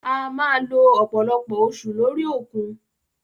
A máa lo ọ̀pọ̀lọpọ̀ oṣù lórí òkun.